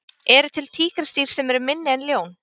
Eru til tígrisdýr sem eru minni en ljón?